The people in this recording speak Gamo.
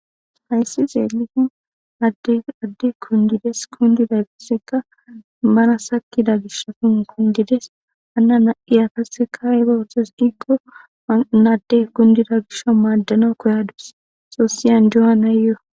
hayssi zeelifin adde kundides kundida gisseka mana sakida gishafun kundides anna na7iyatasseka iba hotes diggo naadde kundida gisho maaddana koyadus xoossiyan johanayyoo